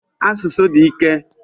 Asụsụ di ike.